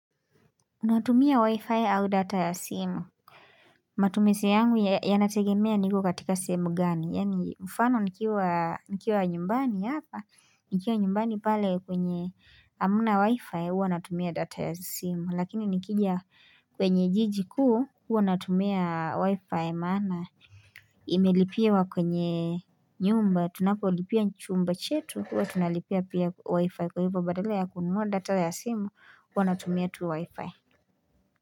Natumia wi-fi au data ya simu Matumiseiyangu yanategemea niko katika simu gani yaani mfano nikiwa nikiwa nyumbani hapa nikiwa nyumbani pale kwenye amna wi-fi huwa natumia data ya simu lakini nikija kwenye jiji kuu huwa natumia wi-fi maana imelipiwa kwenye nyumba tunapolipia chumba chetu huwa tunalipia pia wi-fi kwa hivyo badala ya kununua data ya simu huwa natumia tu wi-fi.